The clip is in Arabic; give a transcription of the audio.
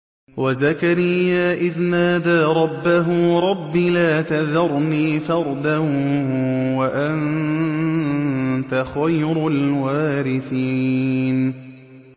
وَزَكَرِيَّا إِذْ نَادَىٰ رَبَّهُ رَبِّ لَا تَذَرْنِي فَرْدًا وَأَنتَ خَيْرُ الْوَارِثِينَ